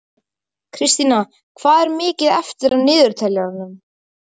Kristína, hvað er mikið eftir af niðurteljaranum?